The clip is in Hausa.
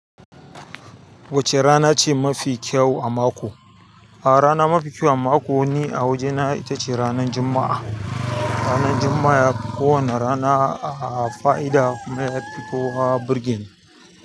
Wacce rana ce mafi kyau a mako? A rana mafi kyau a mako ni a wajena ita ce ranan juma'a. Ranan juma'a ya fi kowana rana a fa'ida kuma ya fi kowa burge ni.